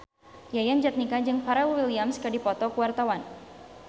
Yayan Jatnika jeung Pharrell Williams keur dipoto ku wartawan